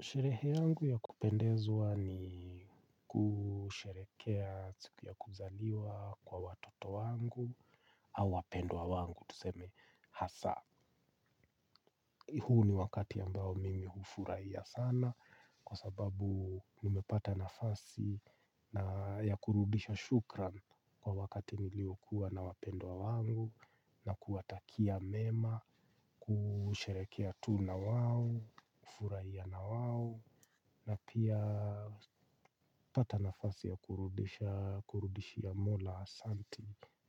Sherehe yangu ya kupendezwa ni kusherehekea siku ya kuzaliwa kwa watoto wangu au wapendwa wangu tuseme hasa. Huu ni wakati ambao mimi hufurahia sana kwa sababu nimepata nafasi ya kurudisha shukran kwa wakati niliokuwa na wapendwa wangu na kuwatakia mema, kusherehekea tu na wao, kufurahia na wao. Na pia kupata nafasi ya kurudishia mola asante